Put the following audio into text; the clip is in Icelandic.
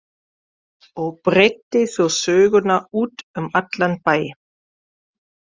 Og breiddi svo söguna út um allan bæ.